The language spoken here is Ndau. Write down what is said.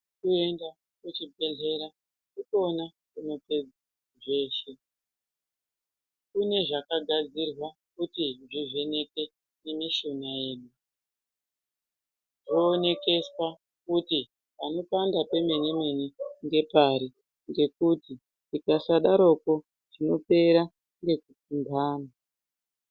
Kuenda kuzvibhedhlera ndikwona kunopedza zveshe kune zvakagadzirwa kuti zvivheneke mumishuna yedu zvoonekeswa kuti Panopanda pemene mene ngepari ngekuti tikasadarokwo tinopera ngekupumpa antu.